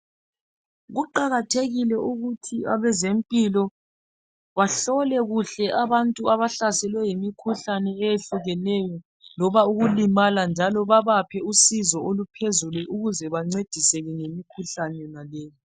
Kuqakathekile ukuthi abazempilo bahlole kuhle abantu abahlaselwe yimikhuhlane eyehlukeneyo. Loba ukulimala, njalo babaphe usizo oluphezulu, ukuze bancediseke ngemikhuhlane yona leyo.